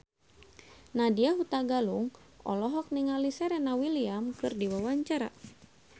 Nadya Hutagalung olohok ningali Serena Williams keur diwawancara